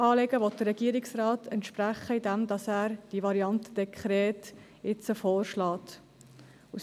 Diesem Anliegen will der Regierungsrat entsprechen, indem er jetzt die Variante Dekret vorschlägt.